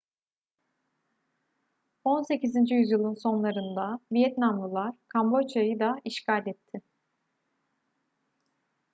18. yüzyılın sonlarında vietnamlılar kamboçya'yı da işgal etti